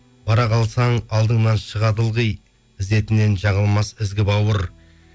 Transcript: бара қалсаң алдыңнан шығады ылғи ізетінен жаңылмас ізгі бауыр